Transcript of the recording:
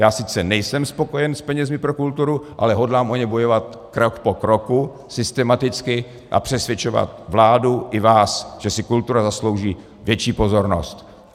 Já sice nejsem spokojen s penězi pro kulturu, ale hodlám o ně bojovat krok po kroku systematicky a přesvědčovat vládu i vás, že si kultura zaslouží větší pozornost.